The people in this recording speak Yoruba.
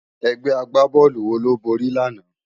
Ègbè ágbábòlú wó ló bóri làná?